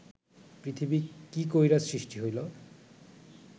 পৃথিবী কি কইরা সৃষ্টি হইল